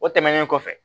O tɛmɛnen kɔfɛ